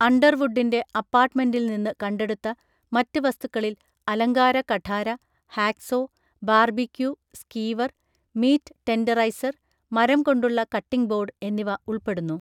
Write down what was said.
അണ്ടർവുഡിൻ്റെ അപ്പാർട്ട്‌മെൻ്റിൽ നിന്ന് കണ്ടെടുത്ത മറ്റ് വസ്തുക്കളിൽ അലങ്കാര കഠാര, hacksaw, barbecue skewer, meat tenderiser, മരംകൊണ്ടുള്ള കട്ടിംഗ് ബോർഡ് എന്നിവ ഉൾപ്പെടുന്നു.